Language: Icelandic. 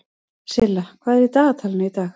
Silla, hvað er í dagatalinu í dag?